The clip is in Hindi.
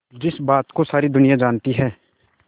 जिस बात को सारी दुनिया जानती है